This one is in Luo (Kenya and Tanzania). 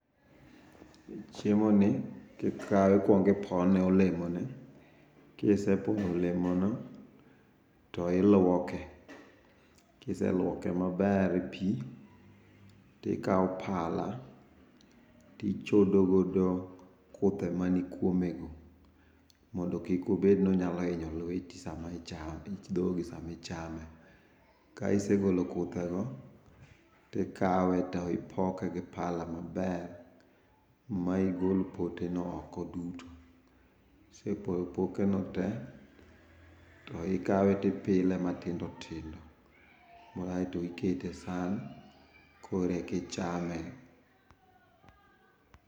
Chiemo ni kikawe ikuong ipono olemoni, kisepono olemono tiluoke, kiseluoke maber e pii tikaw pala tichodo godo kuthe mani kuome go mondo kik obed ni onyalo hinyo lweti sama ichame, dhogi sama ichame. Ka isegolo kuthego go tikawe to ipoke gi pala maber ma igol pote no oko duto, ka isegolo poteno te to ikawe ipile matindo tindo aito ikete e san koreka ichame